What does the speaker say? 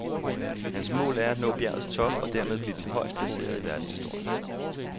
Hans mål er at nå bjergets top og dermed blive den højest placerede i verdenshistorien.